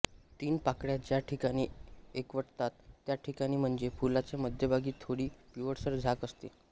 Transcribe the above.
तीन पाकळ्या ज्या ठिकाणी एकवटतात त्या ठिकाणी म्हणजे फुलाच्या मध्यभागी थोडी पिवळसर झाक असते